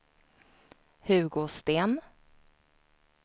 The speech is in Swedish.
Hugo Sten